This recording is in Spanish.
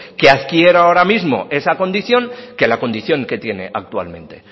que adquiera ahora mismo esa condición que la condición que tiene actualmente